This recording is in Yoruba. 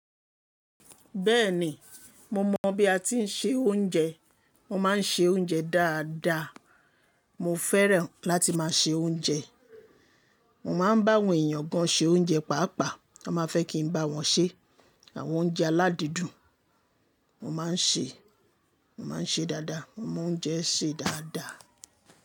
Bẹ́ẹ̀ni, mo mọ̀ bí a ti ń se oúnjẹ. Mo máa ń se oúnjẹ dáadáa. Mo fẹ́ràn láti máa se oúnjẹ. Mo máa ń bá àwọn èèyàn gan ṣe oúnjẹ paapaa. Wọ́n máa fẹ́ kí n bá wọn ṣe àwọn oúnjẹ aládídùn. Mo máa ń ṣe, mo máa ń ṣe dáadáa. Mo mọ oúnjẹ sè dáadáa.